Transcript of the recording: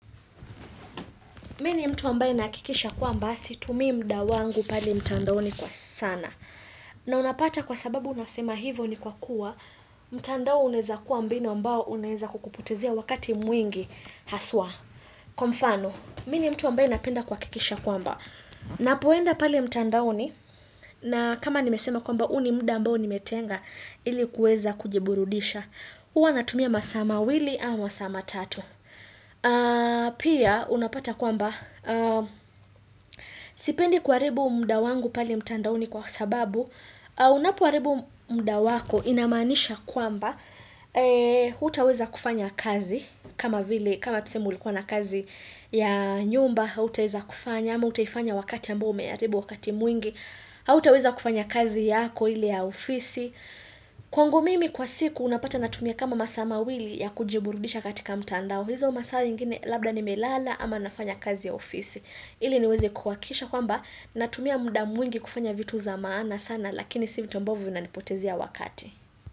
Mimi ni mtu ambaye nahakikisha kwamba situmii muda wangu pale mtandaoni kwa sana. Na unapata kwa sababu unasema hivyo ni kwa kuwa mtandao unaweza kuwa mbinu ambao unaweza kukupotezea wakati mwingi haswa. Kwamfano, mimi ni mtu ambaye napenda kuhakikisha kwamba. Ninapoenda pale mtandaoni na kama nimesema kwamba huu ni muda ambao nimetenga ilikuweza kujiburudisha. Huwa natumia masaa mawili au masaa matatu. Pia unapata kwamba Sipendi kuharibu muda wangu pale mtandaoni kwa sababu Unapo haribu muda wako inamaanisha kwamba hutaweza kufanya kazi kama vile kama tuseme ulikuwa na kazi ya nyumba autaweza kufanya ama utaifanya wakati ambao umeharibu wakati mwingi hutaweza kufanya kazi yako ile ya ofisi Kwangu mimi kwa siku unapata natumia kama masaa mawili ya kujiburudisha katika mtandao hizo masaa zingine labda ni melala ama nafanya kazi ya ofisi. Ili niweze kuhakikisha kwamba natumia muda mwingi kufanya vitu za maana sana lakini si vitu ambavyo vina nipotezea wakati.